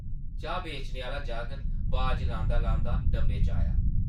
चाह् बेचने आह्ला जागत बाज लांदा-लांदा डब्बे च आया ।